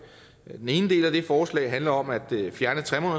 den ene del af det forslag handler om at fjerne